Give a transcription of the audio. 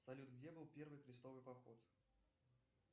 салют где был первый крестовый поход